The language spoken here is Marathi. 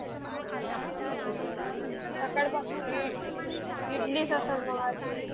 सकाळ पासून इ इडली असल मग आज